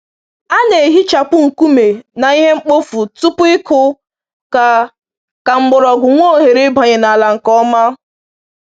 A na‑ehichapụ nkume na ihe mkpofu tupu ịkụ ka ka mgbọrọgwụ nwee ohere ịbanye n’ala nke ọma.